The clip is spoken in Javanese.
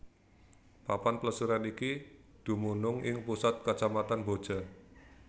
Papan plesiran iki dumunung ing pusat Kacamatan Boja